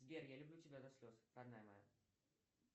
сбер я люблю тебя до слез родная моя